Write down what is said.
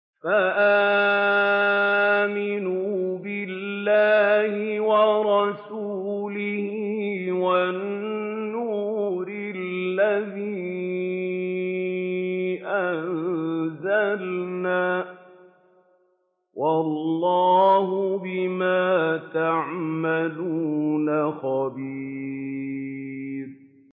فَآمِنُوا بِاللَّهِ وَرَسُولِهِ وَالنُّورِ الَّذِي أَنزَلْنَا ۚ وَاللَّهُ بِمَا تَعْمَلُونَ خَبِيرٌ